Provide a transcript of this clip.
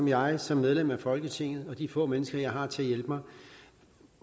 jeg som medlem af folketinget og de få mennesker jeg har til at hjælpe mig